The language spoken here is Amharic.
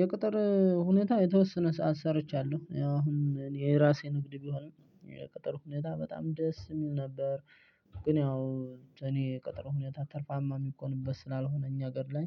የቅጥር ሁኔታ የተወሰነ ሰዓት ሰርቻለሁ ያው አሁን የራሴ ንግድ ቢሆን የቅጥር ሁኔታ በጣም ደስ የሚል ነበር። ግን ያው እኔ የቅጥር ሁኔታ ትርፋማ የሚኮንበት ስላልሆነ እኛ ሀገር ላይ